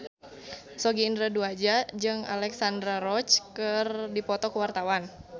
Sogi Indra Duaja jeung Alexandra Roach keur dipoto ku wartawan